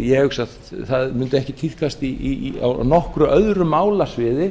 ég hugsa að það mundi ekki tíðkast á nokkru öðru málasviði